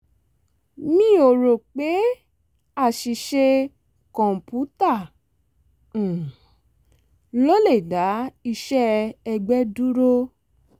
mi ò ro pé aṣìṣe kọ̀ǹpútà um ló le dá iṣẹ́ ẹgbẹ́ dúró